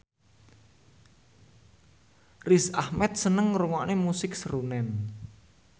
Riz Ahmed seneng ngrungokne musik srunen